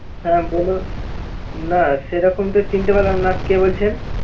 হ্যা বলেন, না সেরকম তো চিনতে পারলাম না কে বলছেন